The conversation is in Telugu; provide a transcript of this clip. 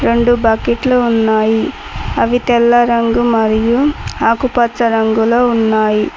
రెండు బకెట్లు ఉన్నాయి అవి తెల్ల రంగు మరియు ఆకుపచ్చ రంగులో ఉన్నాయి.